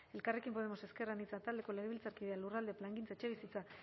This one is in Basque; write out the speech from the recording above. elkarrekin podemos ezker anitza taldeko legebiltzarkideak lurralde plangintza etxebizitza